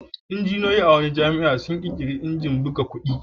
Injiniyoyi a wata jami'a sun ƙirƙiri injin buga kuɗi.